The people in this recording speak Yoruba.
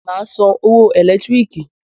Màá a San owo ẹ̀lẹ́tíríkì